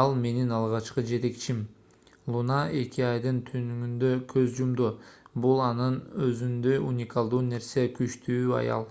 ал менин алгачкы жетекчим луна эки айдын түнүндө көз жумду бул анын өзүндөй уникалдуу нерсе күчтүү аял